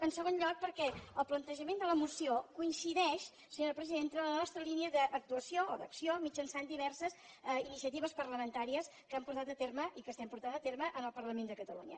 en segon lloc perquè el plantejament de la moció coincideix senyora presidenta amb la nostra línia d’actuació o d’acció mitjançant diverses iniciatives parlamentàries que hem portat a terme i que estem portant a terme al parlament de catalunya